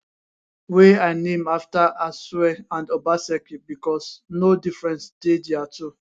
wey i name afta asue and obaseki becos no difference dey dia two